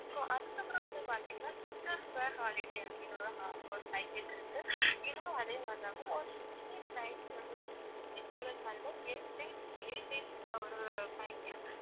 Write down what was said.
so அதுக்கப்புறம் வந்து பாத்தீங்கன்னா holiday அப்படின்னு ஒரு ஹா~ ஒரு package இருக்கு இதுவும் அதே மாதிரிதான் ஒரு six days night வந்து si~ oh sorry ma'am eight days eight days ல ஒரு package